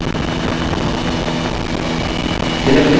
selectcolor dialog box प्रदर्शित होता है